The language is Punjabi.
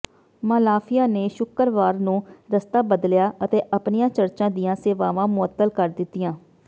ਮਾਲਾਫੀਆ ਨੇ ਸ਼ੁੱਕਰਵਾਰ ਨੂੰ ਰਸਤਾ ਬਦਲਿਆ ਅਤੇ ਆਪਣੀਆਂ ਚਰਚਾਂ ਦੀਆਂ ਸੇਵਾਵਾਂ ਮੁਅੱਤਲ ਕਰ ਦਿੱਤੀਆਂ